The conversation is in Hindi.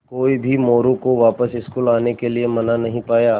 कोई भी मोरू को वापस स्कूल आने के लिये मना नहीं पाया